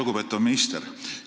Lugupeetav minister!